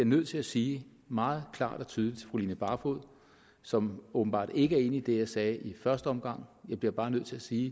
nødt til at sige meget klart og tydeligt til fru line barfod som åbenbart ikke er enig i det jeg sagde i første omgang jeg bliver bare nødt til at sige